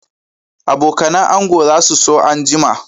Abokanan ango za su so anjima